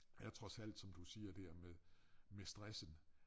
Er trods alt som du siger det her med med stressen